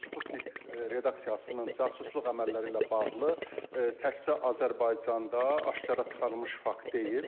Sputnik redaksiyasının casusluq əməlləri ilə bağlı təkcə Azərbaycanda aşkara çıxarılmış fakt deyil.